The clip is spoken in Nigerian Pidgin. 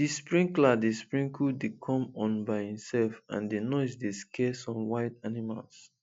the sprinkler dey sprinkler dey come on by itself and the noise dey scare some wild animals